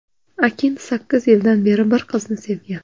Akin sakkiz yildan beri bir qizni sevgan.